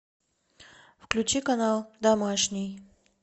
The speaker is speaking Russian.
включи канал домашний